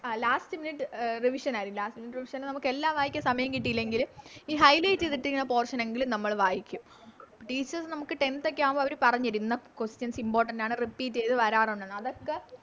ആ Last minute revision ആരിക്കും Last minute revision നമ്മക്കെല്ലാം വായിക്കാൻ സമയം കിട്ടിയില്ലെങ്കിലും ഈ Highlight ചെയ്തിട്ടിരിക്കുന്ന Portion എങ്കിലും നമ്മള് വായിക്ക Teachers നമുക്ക് Tenth ഒക്കെ ആവുമ്പൊ അവര് പറഞ്ഞ് തരും ഇന്ന Questions importance ആണ് Repeate ചെയ്ത വരാറുണ്ടെന്ന് അതൊക്കെ